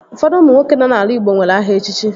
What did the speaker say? Ụfọdụ ụmụ nwoke nọ n'ala igbo nwere aha echichi